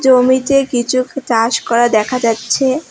জমিতে কিচুক চাষ করা দেখা যাচ্ছে।